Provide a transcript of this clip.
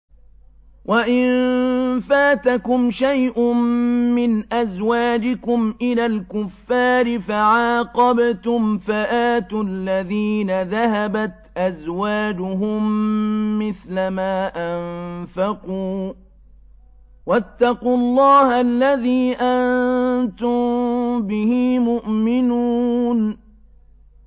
وَإِن فَاتَكُمْ شَيْءٌ مِّنْ أَزْوَاجِكُمْ إِلَى الْكُفَّارِ فَعَاقَبْتُمْ فَآتُوا الَّذِينَ ذَهَبَتْ أَزْوَاجُهُم مِّثْلَ مَا أَنفَقُوا ۚ وَاتَّقُوا اللَّهَ الَّذِي أَنتُم بِهِ مُؤْمِنُونَ